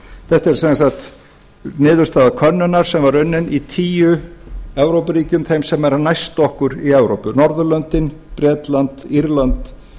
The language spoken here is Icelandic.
þetta er sem sagt niðurstaða könnunar sem var unnin í tíu evrópuríkjum þeim sem eru næst okkur í evrópu norðurlöndin bretland írland